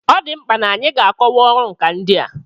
Ọ dị mkpa n'anyị ga-akọwa ọrụ nkà ndị a.